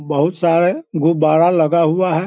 बहुत सारे गुब्बारा लगा हुआ है।